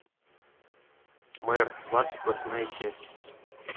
мэр двадцать восьмая часть